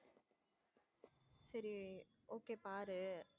சரி okay பாரு.